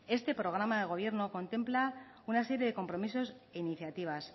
este programa de gobierno contempla una serie de compromisos e iniciativas